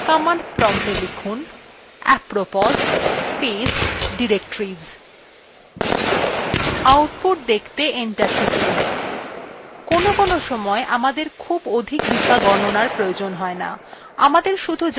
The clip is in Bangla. command promptএ লিখুনapropos space directories output দেখতে enter টিপুন